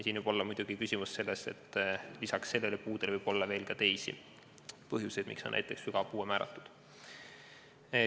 Siin võib küsimus muidugi olla selles, et lisaks puudele võib olla ka teisi põhjuseid, miks on lapsele näiteks sügav puue määratud.